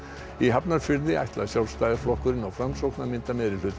í Hafnarfirði ætla Sjálfstæðisflokkurinn og Framsókn að mynda meirihluta í